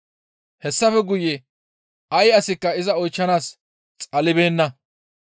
Hessafe guye ay asikka iza oychchanaas xalibeenna.